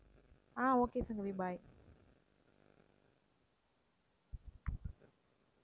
ah okay Sangavi bye